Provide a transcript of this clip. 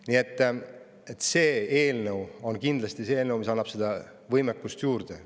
Nii et see eelnõu annab meile võimekust juurde.